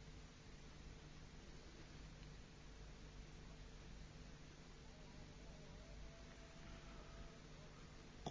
۞